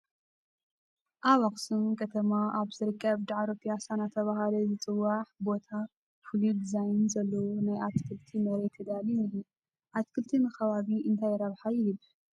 ኣብ ኣኽሱም ከተማ ኣብ ዝርከብ ዳዕሮ ፒያሳ እናተባህለ ዝፅዋዕ ቦታ ፍሉይ ዲዛይን ዘለዎ ናይ ኣትክልቲ መሬት ተዳልዩ እኒሀ፡፡ ኣትክልቲ ንኸባቢ እንታይ ረብሓ ይህብ?